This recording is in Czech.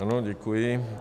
Ano, děkuji.